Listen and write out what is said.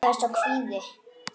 Það er sá kvíði.